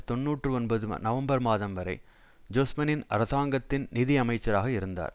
தொன்னூற்றி ஒன்பது நவம்பர் மாதம் வரை ஜொஸ்பனின் அரசாங்கத்தின் நிதி அமைச்சராக இருந்தார்